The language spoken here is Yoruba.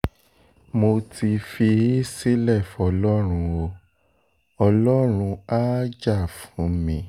mo ti fi í sílẹ̀ fọlọ́run o ọlọ́run á jà fún mi